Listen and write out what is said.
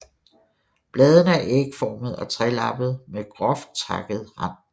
Bladene er ægformede og trelappede med groft takket rand